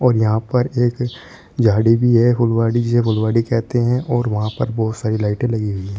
यहां पर एक झाड़ी भी है फुलवाडी जिसे फुलवारी कहते हैं और वहां पर बहुत सारी लाइटे लगी है।